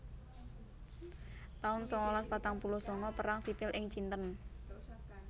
taun sangalas patang puluh sanga Perang Sipil ing Cinten